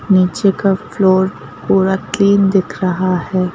नीचे का फ्लोर पूरा क्लीन दिख रहा है।